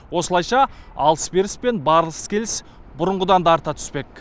осылайша алыс беріс пен барыс келіс бұрынғыдан да арта түспек